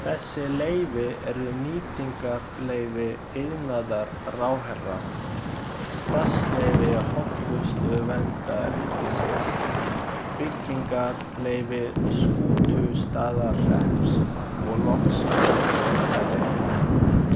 Þessi leyfi eru nýtingarleyfi iðnaðarráðherra, starfsleyfi Hollustuverndar ríkisins, byggingarleyfi Skútustaðahrepps og loks framkvæmdaleyfi.